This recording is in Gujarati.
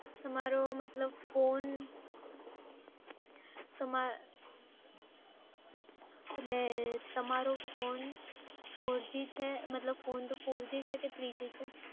તમારો મતલબ phone તમાર એટલે તમારો phone four g છે કે three g છે?